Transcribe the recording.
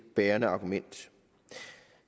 bærende argument